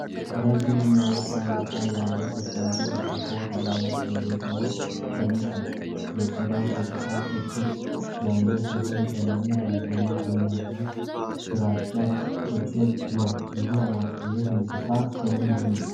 ረጅም እና ወፍራም አካል ያለው፣ ተሳቢ እንስሳ በአሸዋማ መሬት ላይ ተኝቷል። የቆዳው ገጽታ ቅርፊት ያለው ሲሆን፣ ቀለሙ በአብዛኛው ቡናማና ግራጫ ቅልቅል ነው ።ይሄ እንስሳ ስሙ ማነው?